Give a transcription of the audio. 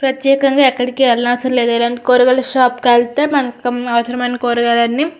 ప్రత్యేకంగా ఎక్కడికి వెళ్ళినవసరం లేదు ఇలాంటి కూరగాయల షాప్ కి వెళ్తే మనకు అవసరమైన కూరగాయలన్నీ --